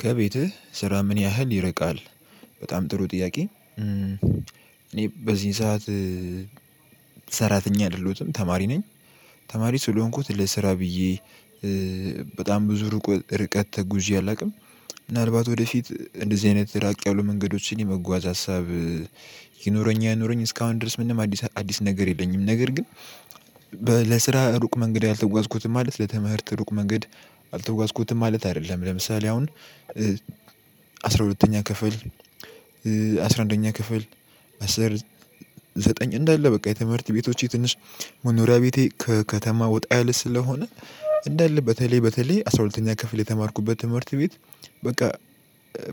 ከቤትህ ስራ ምን ያህል ይርቃል? በጣም ጥሩ ጥያቄ እኔ በዚህ ሰዓት ሰራተኛ አይደለሁትም ተማሪ ነኝ። ተማሪ ስለሆንኩት ለስራ ብዬ በጣም ብዙ ሩቁ ርቀት ተጉዤ አላውቅም። ምናልባት ወደፊት እንደዚህ አይነት ድራቅ ያሉ መንገዶችን የመጓዝ ሀሳብ ይኑረኝ አይኑረኝ እስካሁን ድረስ ምንም አዲስ አዲስ ነገር የለኝም። ነገር ግን ለስራ ሩቅ መንገድ አልተጓዝኩትም ማለት ለትምህርት ሩቅ መንገድ አልተጓዝኩትም ማለት አይደለም። ለምሳሌ አሁን አስራ ሁለተኛ ክፍል አስራ አንደኛ ክፍል አስር ዘጠኝ እንዳለ በቃ የትምህርት ቤቶቼ ትንሽ መኖሪያ ቤቴ ከከተማ ወጣ ያለ ስለሆነ እንዳለ በተለይ በተለይ አስራ ሁለተኛ ክፍል የተማርኩበት ትምህርት ቤት በቃ